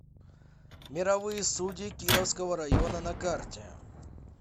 мировые судьи кировского района на карте